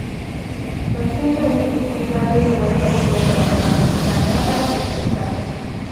Ban san yau ne bikin zagayowar haihuwar Mama ba, da na ba ta kyauta